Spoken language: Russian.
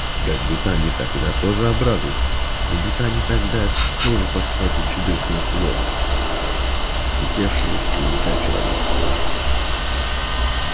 и как будто они тогда тоже обрадуются как будто они тогда тоже подхватят чудесное слово слетевшее с языка человеческого